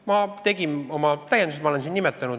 Ma tegin oma täiendused, ma olen siin neid nimetanud.